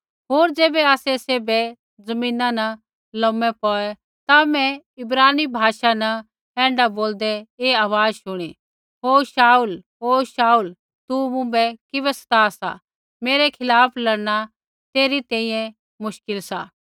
होर ज़ैबै आसै सैभै ज़मीना न लोमै पौऐ ता मैं इब्रानी भाषा न ऐण्ढा बोलदै ऐ आवाज़ शुणी हे शाऊल हे शाऊल तू मुँभै किबै सता सा मेरै खिलाफ़ लड़ना तेरी तैंईंयैं मुश्किल सा